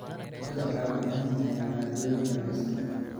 Cuntadu waxay u baahan tahay maaddooyin dhammaystiran.